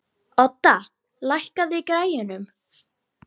Odda, lækkaðu í græjunum.